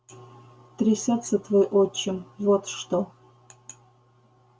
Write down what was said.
трясётся твой отчим вот что